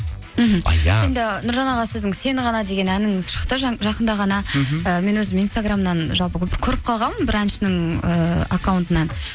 мхм енді нұржан аға сіздің сені ғана деген әніңіз шықты жақында ғана і мен өзім инстаграмнан жалпы көріп қалғанмын бір әншінің ііі аккаунтынан